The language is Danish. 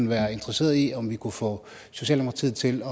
være interesseret i om vi kunne få socialdemokratiet til